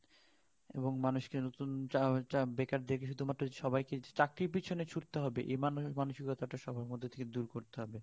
এবং মানুষ কে বেকার চা~চাকরির পিছে ছুটতে হবে এই মানসিকতা টা সবার মধ্যে থেকে দূর করতে হবে